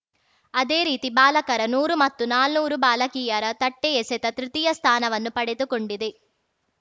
ಅದೇ ರೀತಿ ಬಾಲಕರ ನೂರು ಮತ್ತು ನಾನೂರು ಬಾಲಕೀಯರ ತಟ್ಟೆಎಸೆತ ತೃತೀಯ ಸ್ಥಾನವನ್ನ ಪಡೆದು ಕೊಂಡಿದೆ